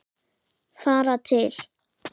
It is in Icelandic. Fara til